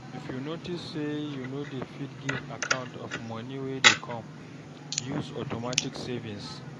If you notice sey you no dey fit give account of money wey dey come, use automatic savings